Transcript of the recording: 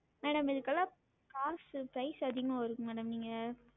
Madam இதுக்கெல்லாம் காசு price உ அதிகமா வரும் madam நீங்க